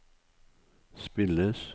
spilles